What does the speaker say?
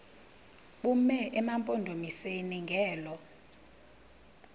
bume emampondomiseni ngelo